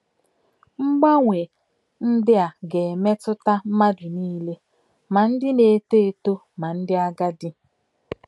Mgbanwe ndị a ga - emetụta mmadụ niile, ma ndị na - eto eto ma ndị agadi.